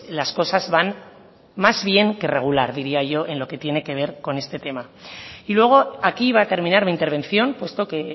las cosas van más bien que regular diría yo en lo que tiene que ver con este tema y luego aquí va a terminar mi intervención puesto que